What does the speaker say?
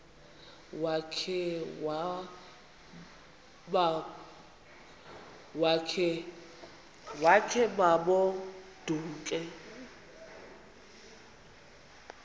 wakhe ma baoduke